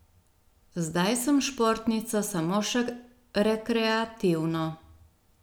Zdaj sem športnica samo še rekreativno.